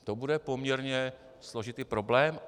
To bude poměrně složitý problém.